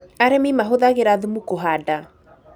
Arĩmi mahũthagĩra thumu kũhanda